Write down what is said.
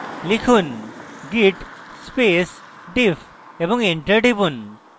লিখুন: git space diff এবং enter টিপুন